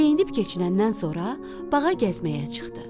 Geyinib keçinəndən sonra bağa gəzməyə çıxdı.